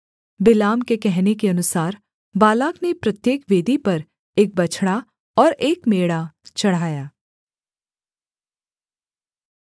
बिलाम के कहने के अनुसार बालाक ने प्रत्येक वेदी पर एक बछड़ा और एक मेढ़ा चढ़ाया